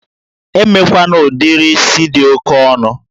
Emekwana udiri is dị oke ọnụ!